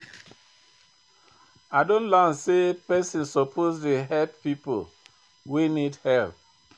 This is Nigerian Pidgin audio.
I don learn sey pesin suppose dey help pipo wey need help.